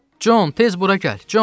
Con, tez bura gəl, Con!